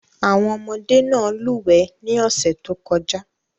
Àwọn ọmọdé náà lúwẹ̀ẹ́ ní ọ̀sẹ̀ tó kọjá.